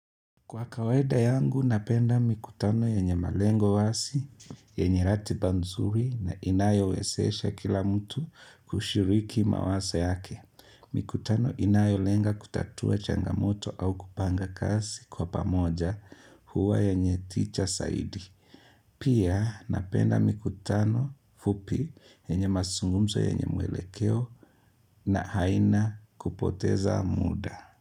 Kwa kawsida yangu, napenda mikutano yenye malengo wazi, yenye ratiba nzuri na inayowezesha kila mtu kushiriki mawazo yake. Mikutano inayolenga kutatua changamoto au kupanga kazi kwa pamoja huwa yenye tija zaidi. Pia, napenda mikutano fupi yenye mazungumzo yenye mwelekeo na haina kupoteza muda.